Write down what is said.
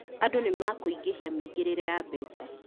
Andũ nĩ makũingĩhia mĩingĩrire ya mbeca